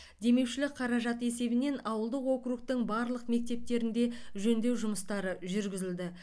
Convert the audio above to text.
демеушілік қаражат есебінен ауылдық округтің барлық мектептерінде жөндеу жұмыстары жүргізілді